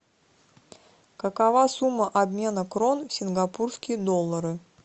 какова сумма обмена крон в сингапурские доллары